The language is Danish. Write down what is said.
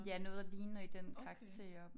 Ja noget ligner i den karakter